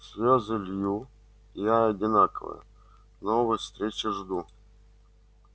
слёзы лью я одинаково новой встречи жду